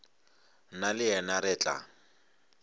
nna le yena re tla